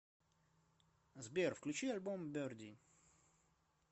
сбер включи альбом берди